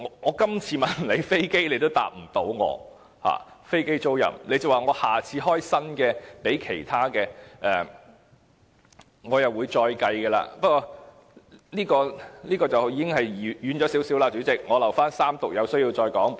我今次問關於飛機租賃的問題政府也無法回答，只說下次就其他方面提出新措施時會再作計算，不過我的發言已有點離題了，我留待三讀有需要時再發言。